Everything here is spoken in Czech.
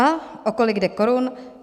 A o kolik jde korun?